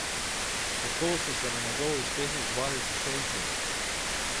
Kako so se na njegov uspeh odzvali sošolci?